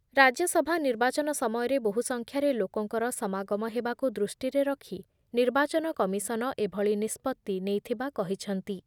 ରାଜ୍ୟ ସଭା ନିର୍ବାଚନ ସମୟରେ ବହୁ ସଂଖ୍ୟାରେ ଲୋକଙ୍କର ସମାଗମ ହେବାକୁ ଦୃଷ୍ଟିରେ ରଖ ନିର୍ବାଚନ କମିଶନ ଏଭଳି ନିଷ୍ପତ୍ତି ନେଇଥିବା କହିଛନ୍ତି ।